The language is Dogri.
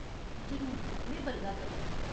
जरूर। में बलगा करनीं।